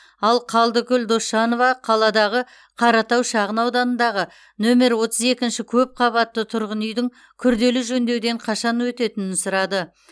ал қалдыкүл досжанова қаладағы қаратау шағын ауданындағы нөмір отыз екінші көпқабатты тұрғын үйдің күрделі жөндеуден қашан өтетінін сұрады